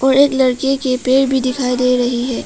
और एक लड़के के पैर भी दिखाई दे रही है।